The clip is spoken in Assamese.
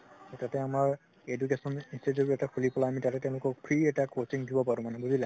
তাতে আমাৰ education institute এটা খুলি পেলাই আমি তাতে তেওঁলোকক free এটা coaching দিব পাৰো মানে বুজিলা